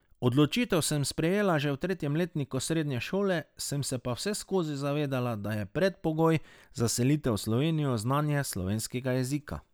Odločitev sem sprejela že v tretjem letniku srednje šole, sem se pa vseskozi zavedala, da je predpogoj za selitev v Slovenijo znanje slovenskega jezika.